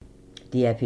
DR P3